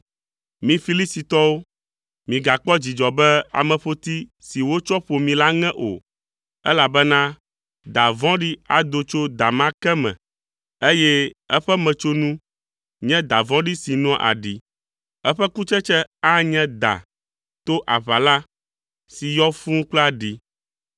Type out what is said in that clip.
Mi Filistitɔwo, migakpɔ dzidzɔ be ameƒoti si wotsɔ ƒo mi la ŋe o, elabena da vɔ̃ɖi ado tso da ma ke me, eye eƒe metsonu nye da vɔ̃ɖi si noa aɖi, eƒe kutsetse anye da to aʋala si yɔ fũu kple aɖi.